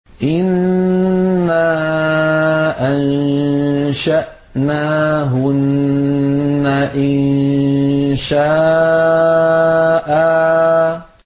إِنَّا أَنشَأْنَاهُنَّ إِنشَاءً